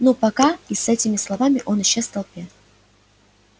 ну пока и с этими словами он исчез в толпе